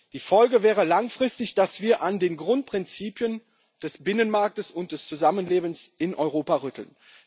Die Folge wäre langfristig, dass wir an den Grundprinzipien des Binnenmarkts und des Zusammenlebens in Europa rütteln.